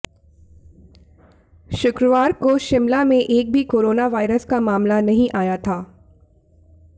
शुक्रवार को शिमला में एक भी कोरोना वायरस का मामला नहीं आया था